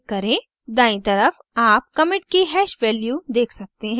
दायीं तरफ़ आप commit की hash value देख सकते हैं